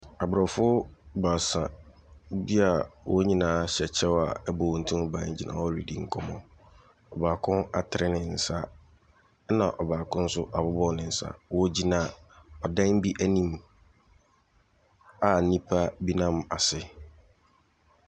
Abrɔfo baasa bi a wɔn nyinaa hyɛ kye a ɛbɔ wɔn ti ho ban gyina hɔ redi nkɔmmɔ. Baako atene ne nsa. Na baako nso awɔ ne nsa. Wɔgyina adan bi anim a nnipa bi nam ase.